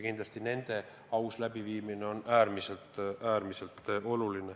Kindlasti nende aus läbiviimine on äärmiselt tähtis.